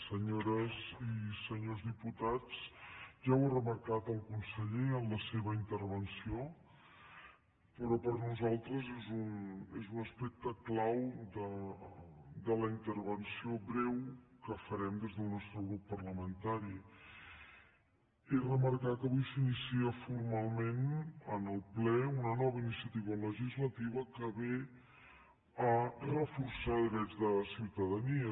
senyores i senyors diputats ja ho ha remarcat el conseller en la seva intervenció però per a nosaltres és un aspecte clau de la intervenció breu que farem des del nostre grup parlamentari és remarcar que avui s’inicia formalment en el ple una nova iniciativa legislativa que ve a reforçar drets de ciutadania